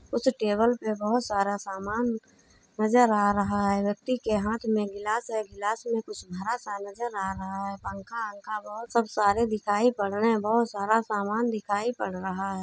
उस टेबल पे बोहोत सारा सामान नज़र आ रहा है व्यक्ति के हाथ में गिलास है। गिलास में कुछ भरा सा नजर आ रहा है। पंखा-वंखा बोहोत सब सारे दिखाई पड़ रहे हैं बोहोत सारा सामान दिखाई पड़ रहा है।